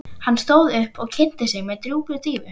Hann stóð upp og kynnti sig með djúpri dýfu.